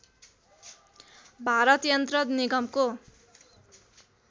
भारत यन्त्र निगमको